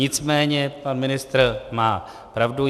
Nicméně pan ministr má pravdu.